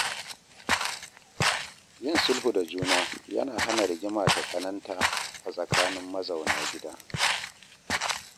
Yin sulhu da juna yana hana rigima ta tsananta a tsakanin mazauna gida.